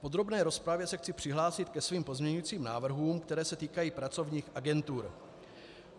V podrobné rozpravě se chci přihlásit ke svým pozměňujícím návrhům, které se týkají pracovních agentur.